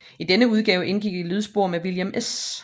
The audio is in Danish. I denne udgave indgik et lydspor med William S